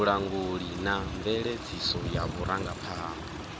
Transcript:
vhulanguli na mveledziso ya vhurangaphanḓa